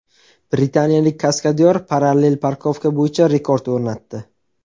Britaniyalik kaskadyor parallel parkovka bo‘yicha rekord o‘rnatdi .